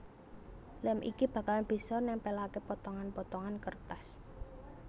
Lem iki bakalan bisa nempelake potongan potongan kertas